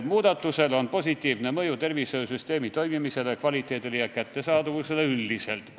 Muudatusel on positiivne mõju tervishoiusüsteemi toimimisele, arstiabi kvaliteedile ja kättesaadavusele üldiselt.